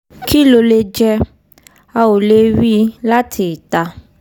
kí ló lè jẹ́? a ò lè rí i láti ìta